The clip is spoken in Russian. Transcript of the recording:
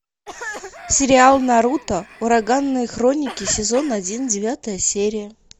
сериал наруто ураганные хроники сезон один девятая серия